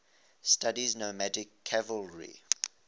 studied nomadic cavalry